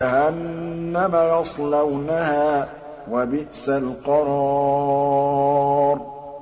جَهَنَّمَ يَصْلَوْنَهَا ۖ وَبِئْسَ الْقَرَارُ